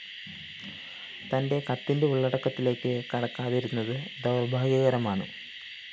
തന്റെ കത്തിന്റെ ഉള്ളടക്കത്തിലേക്ക്‌ കടക്കാതിരുന്നത്‌ ദൗര്‍ഭാഗ്യകരമാണ്‌